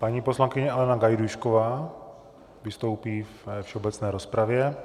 Paní poslankyně Alena Gajdůšková vystoupí ve všeobecné rozpravě.